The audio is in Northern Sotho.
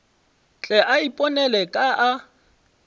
tle a iponele ka a